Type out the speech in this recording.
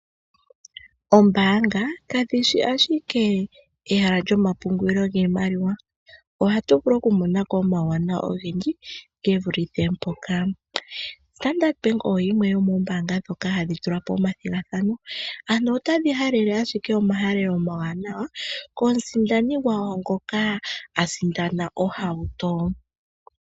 Oombaanga kadhi shi ashike ehala lyomapungulo giimaliwa. Ohatu vulu okumona ko omauwanawa ogendji ge vulithe mpoka. Standard Bank oyo yimwe yomoombaanga ndhoka hadhi tula po omathigathano. Otadhi halele ashike omahalelo omawanawa komusindani gwawo ngoka a sindana ohauto.